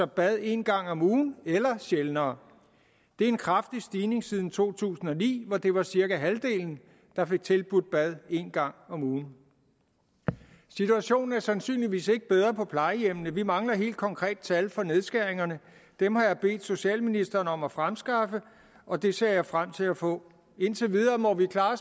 bad en gang om ugen eller sjældnere det er en kraftig stigning siden to tusind og ni hvor det var cirka halvdelen der fik tilbudt bad en gang om ugen situationen er sandsynligvis ikke bedre på plejehjemmene vi mangler helt konkrete tal for nedskæringerne og dem har jeg bedt socialministeren om at fremskaffe og dem ser jeg frem til at få indtil videre må vi klare